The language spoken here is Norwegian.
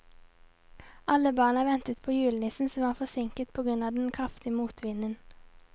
Alle barna ventet på julenissen, som var forsinket på grunn av den kraftige motvinden.